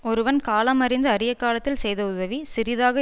ஒருவன் காலமறிந்து அறிய காலத்தில் செய்த உதவி சிறிதாக